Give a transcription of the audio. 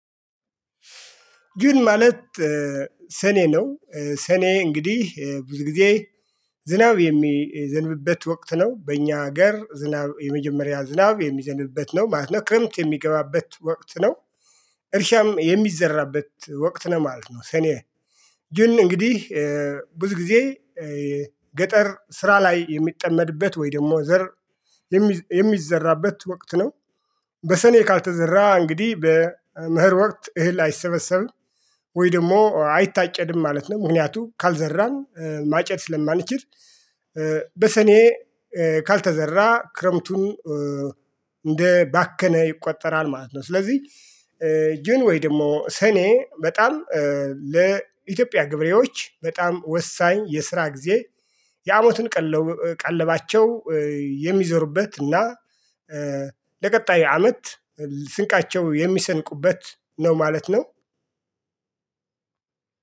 ጁን ማለት ሰኔ ነው። ሰኔ እንግዲህ ብዙ ጊዜ ዝናብ የሚዘንብበት ወቅት ነው በእኛ ሀገር ዝናብ የመጀመሪያ ዝናብ የሚዘንብበት ነው ማለት ነው ክረምት የሚገባበት ወቅት ነው። እርሻም የሚዘራበት ወቅት ነው ማለት ነው። ሰኔ ጁን እንግዲህ ብዙ ጊዜ ገጠር ስራ ላይ የሚጠመድበት ወይ ደግሞ ዘር የሚዘራበት ወቅት ነው። በሰኔ ካልተዘራ እንግዲህ በመኸር ወቅት እህል አይሰበሰብም ወይ ደግሞ አይታጨድም ማለት ነው። ምክንያቱም ካልዘራን ማጨድ ስለማንችል። በሰኔ ካልተዘራ ክረምቱን እንደ ባከነ ይቆጠራል ማለት ነው። ስለዚህ ጁን ወይ ደግሞ ሰኔ በጣም ለኢትዮጵያ ገበሬዎች በጣም ወሳኝ የስራ ጊዜ የአመቱን ቀለባቸው የሚዘሩበት እና ለቀጣይ አመት ስንቃቸው የሚሰንቁበት ነው ማለት ነው።